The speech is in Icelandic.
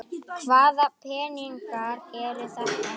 Hvaða peningar eru þetta?